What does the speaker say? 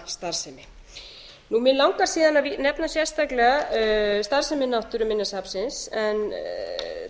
kjarnastarfsemi mig langar síðan að nefna sérstaklega starfsemi náttúruminjasafnsins en